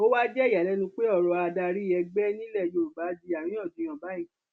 ó wáá jẹ ìyàlẹnu pé ọrọ adarí ẹgbẹ nílẹ yorùbá di àríyànjiyàn báyìí